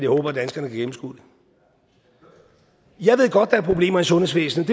håber at danskerne kan gennemskue det jeg ved godt er problemer i sundhedsvæsenet